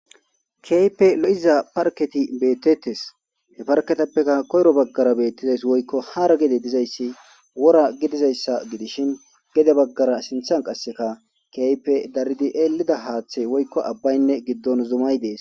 Keype lo'iza parketi beettettes he parketappeka koyro baggara beettizays woykko hara gede dizayssi wora gidizayssa gidishin gede baggara sinthan qasseka keype daridi eelida haaththey woykko abbaynne giddon zumay dees.